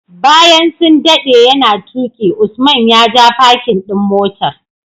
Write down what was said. Bayan sun dade yana tuki Usman ya ja parkin ɗin motar.